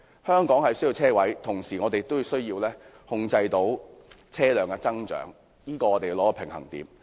香港需要車位，同時也需要控制車輛的增長，我們要取得平衡。